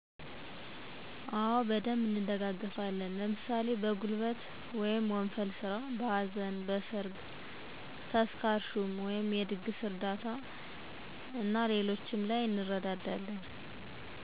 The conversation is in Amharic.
አወ በደንብ እንደጋገፋለን። ለምሣሌ በጉልበት/ወንፈል ስራ: በሀዘን: በሠርግ ተስካር ሹመት/የድግስ እርዳታ/ እንረዳዳለን።